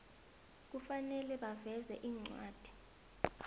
kufanele baveze incwadi